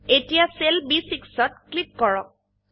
এতিয়া cell B6 ত click কৰক